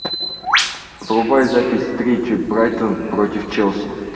врубай запись встречи брайтон против челси